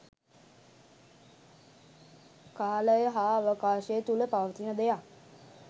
කාලය හා අවකාශය තුළ පවතින දෙයක්